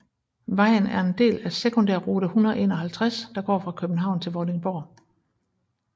Vejen er en del af sekundærrute 151 der går fra København til Vordingborg